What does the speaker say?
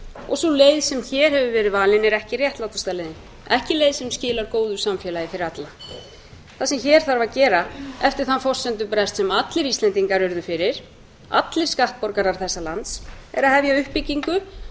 og sú leið sem hér hefur verið valin er ekki réttlátasta leiðin ekki leið sem skilar góðu samfélagi fyrir alla það sem hér þarf að gera eftir þann forsendubrest sem allir íslendingar urðu fyrir allir skattborgarar þessa lands er að hefja uppbyggingu